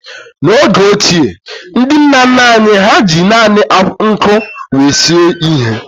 N'oge ochie, ndị nna nna anyị ha ji naanị nkụ wee sie ihe.